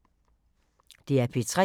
DR P3